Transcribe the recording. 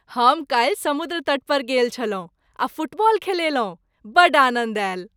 हम काल्हि समुद्र तट पर गेल छलहुँ आ फुटबॉल खेललहुँ। बड्ड आनन्द आयल।